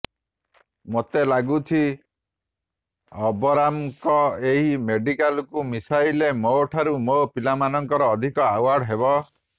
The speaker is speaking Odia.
ମୋତେ ଲାଗୁଛି ଅବରାମଙ୍କ ଏହି ମେଡାଲକୁ ମିଶାଇଲେ ମୋଠାରୁ ମୋ ପିଲାମାନଙ୍କର ଅଧିକ ଆୱାର୍ଡ଼ ହେବ